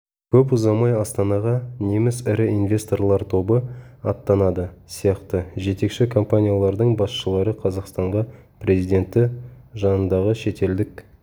көп ұзамай астанаға неміс ірі инвесторлар тобы аттанады сияқты жетекші компаниялардың басшылары қазақстанға президенті жанындағы шетелдік